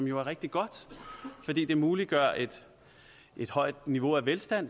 jo rigtig god fordi den muliggør et et højt niveau af velstand